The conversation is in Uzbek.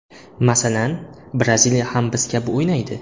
Masalan, Braziliya ham biz kabi o‘ynaydi.